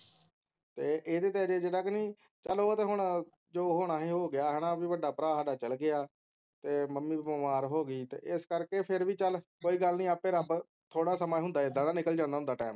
ਤੇ ਇਹਦੇ ਤੇ ਅਜੇ ਤਕ ਨੀ ਚਲ ਉਹ ਤੇ ਹੁਣ ਜੋ ਹੋਣਾ ਸੀ ਉਹ ਹੋ ਗਿਆ ਹੈਨਾ ਕਿ ਵੱਡਾ ਭਰਾ ਸਾਡਾ ਚਲਾ ਗਿਆ ਮੰਮੀ ਵੀ ਬਿਮਾਰ ਹੋ ਗਈ ਇਸ ਕਰਕੇ ਫੇਰ ਵੀ ਚਲ ਕੋਈ ਗੱਲ ਨੀ ਆਪੇ ਰੱਬ ਥੋੜਾ ਸਮਾਂ ਹੁੰਦਾ ਇੱਦਾਂ ਦਾ ਨਿਕਲ ਜਾਂਦਾ ਹੁੰਦਾ ਟਾਈਮ